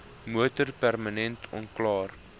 motor permanent onklaar